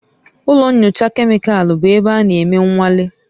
Ụlọ nyocha kemịkalụ bụ ebe a na-eme nnwale